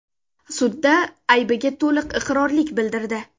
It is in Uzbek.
sudda aybiga to‘liq iqrorlik bildirdi.